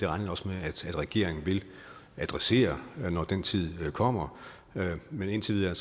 regner også med regeringen vil adressere det når den tid kommer men indtil videre